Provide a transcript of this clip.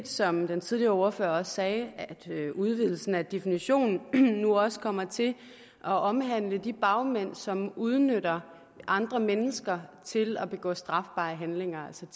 som den tidligere ordfører sagde at udvidelsen af definitionen også kommer til at omhandle de bagmænd som udnytter andre mennesker og til at begå strafbare handlinger som